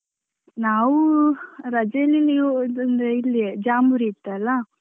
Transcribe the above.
ನಾವು ರಜೆಯಲ್ಲಿ ಇಲ್ಲಿಯೇ ಜಾಂಬೂರಿ ಇತ್ತಲ್ಲ.